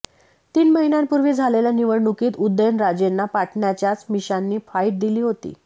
तीन महिन्यांपूर्वी झालेल्या निवडणुकीत उदयनराजेंना पाटणच्याच मिशांनी फाईट दिली होती